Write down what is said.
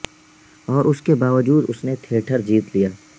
اور اس کے باوجود اس نے تھیٹر جیت لیا